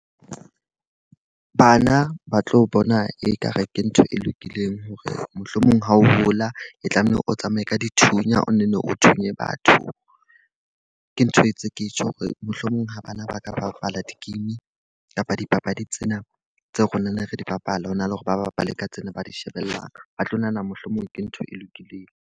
Bana ba tlo bona e ka re ke ntho e lokileng hore mohlomong ha o hola, e tlameha o tsamaye ka dithunya o nenne o thunye batho. Ke ntho mtse ke tjho hore mohlomong ha bana ba ka bapala di-game kapa dipapadi tsena tseo re neng re di bapala, hona le hore ba bapale ka tsena ba di shebellang. Ba tlo nahana mohlomong ke ntho e lokileng.